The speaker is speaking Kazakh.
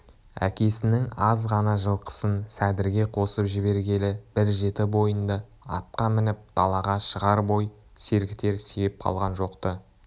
әкесінің аз ғана жылқысын сәдірге қосып жібергелі бір жеті бойында атқа мініп далаға шығар бой сергітер себеп қалған жоқ-ты